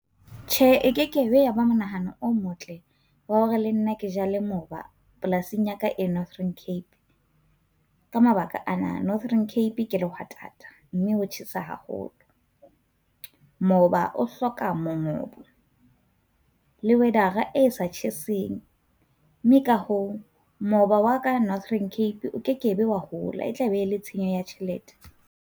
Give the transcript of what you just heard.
Tjhe, e ke kebe ya ba monahano o motle wa hore le nna ke jale moba polasing ya ka e Northern Cape. Ka mabaka a na, Northern Cape ke lehwatata mme ho tjhesa haholo, moba o hloka mongobo le weather e sa tjheseng mme ka hoo moba wa ka Northern Cape o ke kebe wa hola. E tla be le tshenyo ya tjhelete.